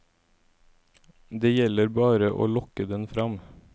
Det gjelder bare å lokke den fram.